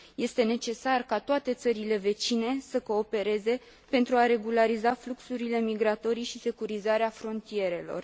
Este necesar ca toate țările vecine să coopereze pentru a regulariza fluxurile migratorii și securizarea frontierelor.